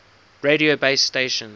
radio base stations